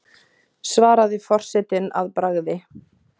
svaraði forsetinn að bragði.